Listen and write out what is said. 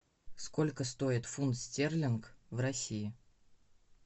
сколько стоит фунт стерлинг в россии